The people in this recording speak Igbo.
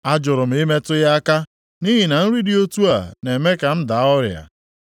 A jụrụ m ịmetụ ya aka, nʼihi na nri dị otu a na-eme ka m daa ọrịa.